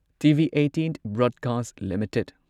TV18 broadcast limited